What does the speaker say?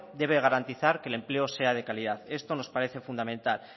tiene que garantizar que el empleo sea de calidad esto nos parece fundamental